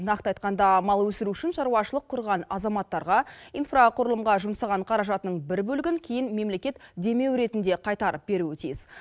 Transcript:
нақты айтқанда мал өсіру үшін шаруашылық құрған азаматтарға инфрақұрылымға жұмсаған қаражатының бір бөлігін кейін мемлекет демеу ретінде қайтарып беруі тиіс